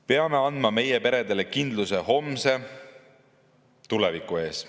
Peame andma meie peredele kindluse homse, tuleviku ees.